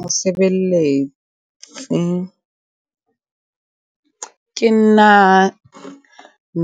Mosebelletsi ke nna